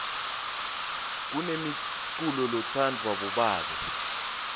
kunemiculolo letsanvwa bobabe